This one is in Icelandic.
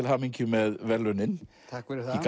hamingju með verðlaunin takk fyrir það er